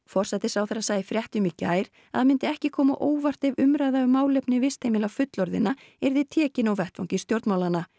forsætisráðherra sagði í fréttum í gær að það myndi ekki koma á óvart ef umræða um málefni vistheimila fullorðinna yrði tekin á vettvangi stjórnmálanna